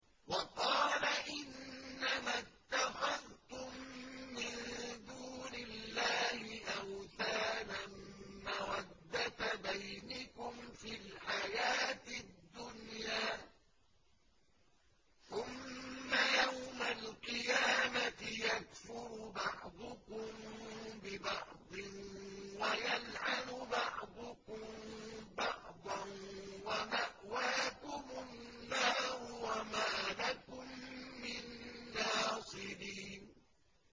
وَقَالَ إِنَّمَا اتَّخَذْتُم مِّن دُونِ اللَّهِ أَوْثَانًا مَّوَدَّةَ بَيْنِكُمْ فِي الْحَيَاةِ الدُّنْيَا ۖ ثُمَّ يَوْمَ الْقِيَامَةِ يَكْفُرُ بَعْضُكُم بِبَعْضٍ وَيَلْعَنُ بَعْضُكُم بَعْضًا وَمَأْوَاكُمُ النَّارُ وَمَا لَكُم مِّن نَّاصِرِينَ